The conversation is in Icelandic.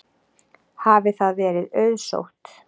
Hafi það verið auðsótt.